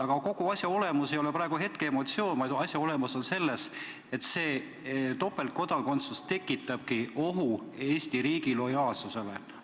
Aga kogu asja olemus ei ole praegu hetkeemotsioon, vaid asja olemus on selles, et topeltkodakondsus tekitabki ohu Eesti riigi lojaalsusele.